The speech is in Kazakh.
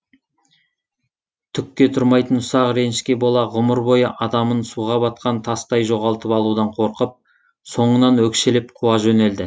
түкке тұрмайтын ұсақ ренішке бола ғұмыр бойы адамын суға батқан тастай жоғалтып алудан қорқып соңынан өкшелеп қуа жөнелді